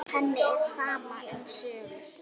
Henni er sama um sögur.